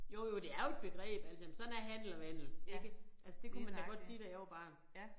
Jo jo det er jo et begreb altså jamen sådan er handel og vandel ikke. Altså det kunne man da godt sige da jeg var barn